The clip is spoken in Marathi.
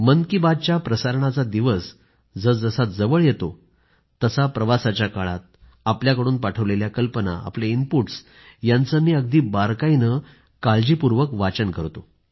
मन की बातच्या प्रसारणाचा दिवस जसजसा जवळ येतो तसा मी प्रवासाच्या काळात आपल्याकडून पाठवलेल्या कल्पना आपले इनपुटस् यांचं मी अगदी बारकाईनं काळजीपूर्वक वाचन करतो